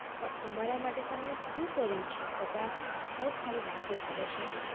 પણ અમારા માટે તમે શું કર્યું છે બધા બસ ખાલી વાતો કરે છે